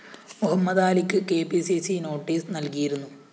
മുഹമ്മദാലിക്ക് K P C C notice നല്‍കിയിരുന്നു